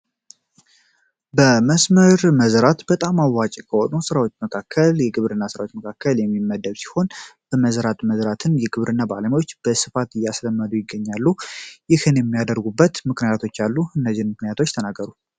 በመስመር መዝራት በጣም አዋጭ ከሆኑ ሥራዎች መካከል የግብር እና ሥራዎች መካከል የሚመደብ ሲሆን በመዘራት መዝራትን የግብር እና በዓለሚዎች በስፋት እያስለመዱ ይገኛሉ ይህን የሚያደርጉበት ምክንያቶች ያሉ እነጅር ምክንያቶች ተናገሩ